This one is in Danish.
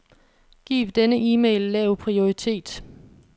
Giv denne e-mail lav prioritet.